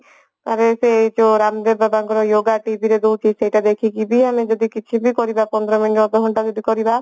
ତ ପରେ ସେ ଯୋଉ ରାମଦେବ ବାବାଙ୍କର yoga TV ରେ ଦଉଛି ସେଟା ଦେଖିକି ବି ଆମେ ଯଦି କିଛିବି କରିବା ପନ୍ଦର minute ଅଧଘଣ୍ଟା ଯଦି କରିବା